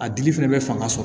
A dili fɛnɛ bɛ fanga sɔrɔ